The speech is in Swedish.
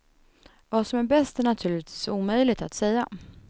Vad som är bäst är naturligtvis omöjligt att säga.